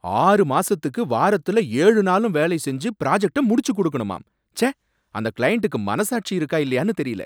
ஆறு மாசத்துக்கு வாரத்துல ஏழு நாளும் வேலை செஞ்சு ப்ராஜக்ட்ட முடிச்சு கொடுக்கணுமாம், ச்சே! அந்த கிளையண்டுக்கு மனசாட்சி இருக்கா இல்லையானு தெரியல